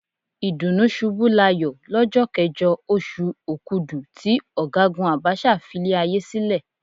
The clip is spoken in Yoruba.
Ìdùnnúṣubúláyọ̀ lọ́jọ́ kẹjọ, oṣù Òkudù tí Ọ̀gágùn Abacha filé ayé sílẹ̀.